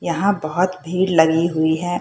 यहाँ बहत भीड़ लगी हुई है।